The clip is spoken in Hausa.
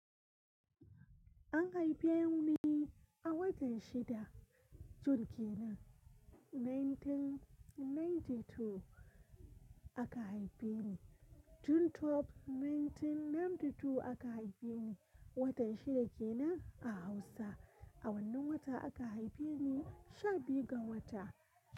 An haife ni a watan shida. June kenan 1992 aka haife ni. June 12 1992 aka haife ni. Watan shida kenan a Hausa. A wannan wata aka haife ni, sha biyu ga wata.